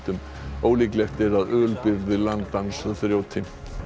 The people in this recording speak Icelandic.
ólíklegt er að landans þrjóti